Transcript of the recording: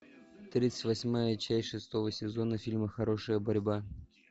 тридцать восьмая часть шестого сезона фильма хорошая борьба